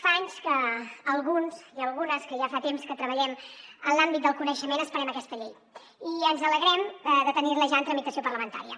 fa anys que alguns i algunes que ja fa temps que treballem en l’àmbit del coneixement esperem aquesta llei i ens alegrem de tenir la ja en tramitació parlamentària